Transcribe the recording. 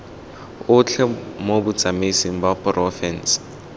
otlhe mo botsamaisng ba porofense